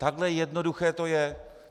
Takhle jednoduché to je.